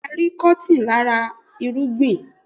Bẹ́ẹ̀ni arin Kọ́tìn láti ara irúgbìn